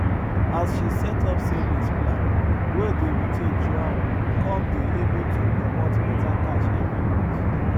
as she set up savings plan wey dey rotate juan con dey able to comot better cash every month